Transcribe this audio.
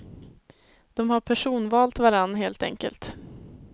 De har personvalt varann, helt enkelt.